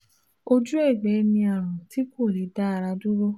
Ojú ẹ̀gbẹ́ ni àrùn tí kò lè dá ara dúró